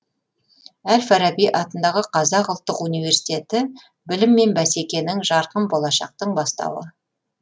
әл фараби атындағы қазақ ұлттық университеті білім мен бәсекенің жарқын болашақтың бастауы